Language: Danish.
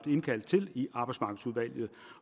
indkaldt til i arbejdsmarkedsudvalget